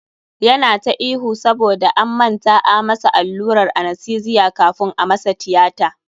Yana ta ihu saboda an manta a masa allurar anastesiya kafun a masa tiyata.